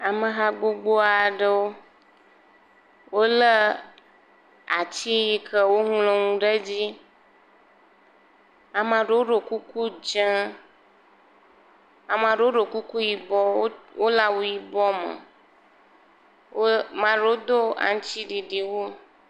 Ameha gbogbo aɖewo. Wolé ati yike woŋlɔ nuwo ɖe dzi. Amea ɖewo ɖɔ kuku dze, amea ɖewo ɖɔ kuku yibɔ, wole awu yibɔ me, mea ɖewo do aŋutiɖiɖi wu.